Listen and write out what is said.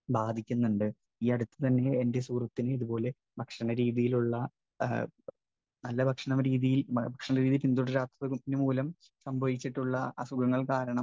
Speaker 1 ബാധിക്കുന്നുണ്ട്. ഈ അടുത്തുതന്നെ എന്റെ സുഹൃത്തിന് ഇതുപോലെ ഭക്ഷണരീതിയിലുള്ള നല്ല ഭക്ഷണരീതി, ഭക്ഷണരീതി പിന്തുടരാത്തതുമൂലം സംഭവിച്ചിട്ടുള്ള അസുഖങ്ങൾ കാരണം